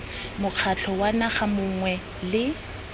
mokgatlho wa naga mongwe le